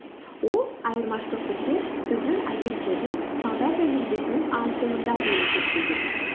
ол айырмашылықты тек біздің агенттердің сауда тәжірибесінің аздығында деп есептеген